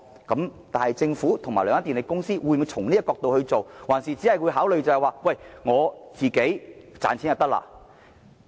然而，政府和兩間電力公司會否從這個角度出發，還是只會以自身利益作考慮？